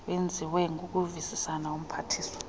wenziwe ngokuvisisana nomphathiswa